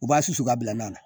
U b'a susu ka bila nan na